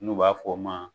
N'u b'a f'o ma